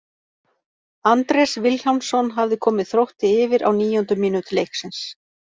Andrés Vilhjálmsson hafði komið Þrótti yfir á níundu mínútu leiksins.